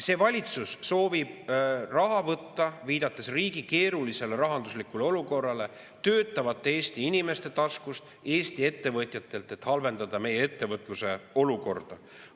See valitsus soovib raha võtta, viidates riigi keerulisele rahanduslikule olukorrale, töötavate Eesti inimeste taskust, Eesti ettevõtjatelt, et halvendada meie ettevõtluse olukorda.